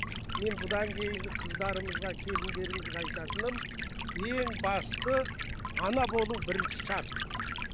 мен бұдан кейінгі қыздарымызға келіндерімізге айтатыным ең басты ана болу бірінші шарт